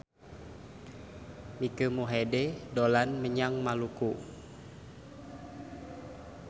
Mike Mohede dolan menyang Maluku